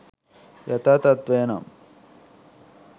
යථා තත්ත්වය නම්